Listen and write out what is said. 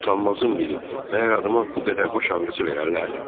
Utanmazın biri, məhər adama bu qədər baş ağrısı verərlər?